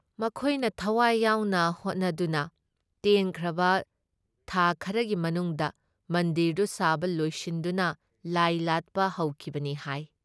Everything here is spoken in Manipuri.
ꯃꯈꯣꯏꯅ ꯊꯋꯥꯏ ꯌꯥꯎꯅ ꯍꯣꯠꯅꯗꯨꯅ ꯇꯦꯟꯈ꯭ꯔꯕ ꯈꯥ ꯈꯔꯒꯤ ꯃꯅꯨꯡꯗ ꯃꯟꯗꯤꯔꯗꯨ ꯁꯥꯕ ꯂꯣꯏꯁꯤꯟꯗꯨꯅ ꯂꯥꯏ ꯂꯥꯠꯄ ꯍꯧꯈꯤꯕꯅꯤ ꯍꯥꯏ ꯫